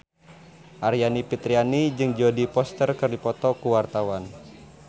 Aryani Fitriana jeung Jodie Foster keur dipoto ku wartawan